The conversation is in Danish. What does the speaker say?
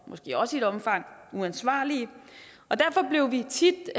måske også i et omfang uansvarlige derfor blev vi tit